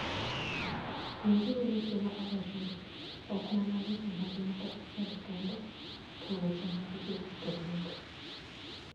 Winjuru weche ma awachonu, ok mana weche mag ng'ato achiel kende, to weche mag ji duto bende.